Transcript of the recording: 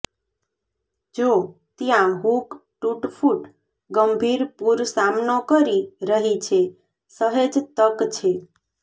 જો ત્યાં હૂક તૂટફૂટ ગંભીર પૂર સામનો કરી રહી છે સહેજ તક છે